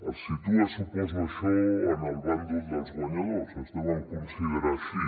els situa suposo això en el bàndol dels guanyadors es deuen considerar així